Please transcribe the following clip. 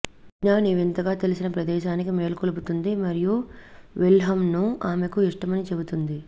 మిగ్నాన్ ఈ వింతగా తెలిసిన ప్రదేశానికి మేల్కొలుపుతుంది మరియు విల్హెమ్ను ఆమెకు ఇష్టమని చెబుతుంది